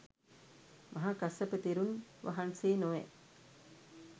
මහා කස්සප තෙරුන් වහන්සේ නොවැ.